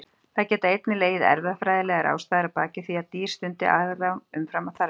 Það geta einnig legið erfðafræðilegar ástæður að baki því að dýr stundi afrán umfram þarfir.